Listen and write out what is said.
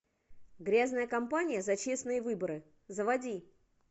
грязная компания за честные выборы заводи